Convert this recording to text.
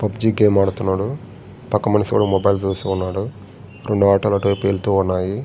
PUBG game ఆడుతున్నాడు.పక్క మనిషి ఒకడు మొబైల్ చూస్తూ ఉన్నాడు. రెండు ఆటో లు అటువైపు వెళ్తూ ఉన్నాయి.